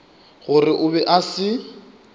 gore o be a se